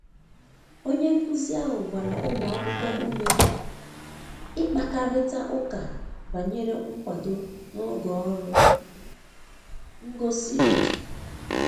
onye nkuzi ahụ gbara ụmụ akwụkwo ụme ịkpakarita ụka banyere nkwado n'oge ọrụ ngosi òtù